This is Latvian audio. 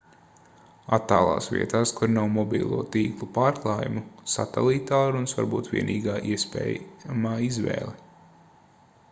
attālās vietās kur nav mobilo tīklu pārklājuma satelīttālrunis var būt vienīgā iespējamā izvēle